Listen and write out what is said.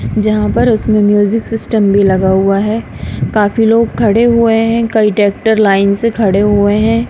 जहां पर उसमें म्यूजिक सिस्टम भी लगा हुआ है काफी लोग खड़े हुए हैं कई ट्रैक्टर लाइन से खड़े हुए हैं।